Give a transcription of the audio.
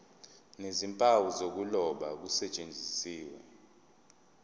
nezimpawu zokuloba kusetshenziswe